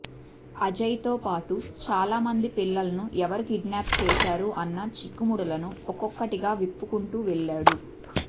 అజయ్తో పాటు చాలా మంది పిల్లలను ఎవరు కిడ్నాప్ చేశారు అన్నచిక్కుముడులను ఒక్కొక్కటిగా విప్పుకుంటూ వెళ్లాడు